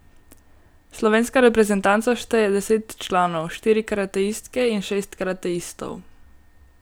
Slovenska reprezentanca šteje deset članov, štiri karateistke in šest karateistov.